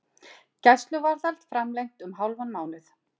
Gæsluvarðhald framlengt um hálfan mánuð